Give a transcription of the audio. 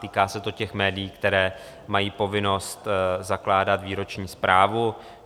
Týká se to těch médií, která mají povinnost zakládat výroční zprávu.